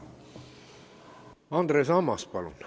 Andres Ammas, palun!